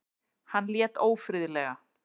Hann lét ófriðlega.